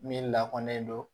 Min lakɔnen don